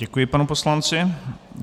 Děkuji panu poslanci.